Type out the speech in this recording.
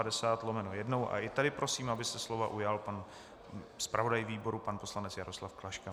A i tady prosím, aby se slova ujal pan zpravodaj výboru pan poslanec Jaroslav Klaška.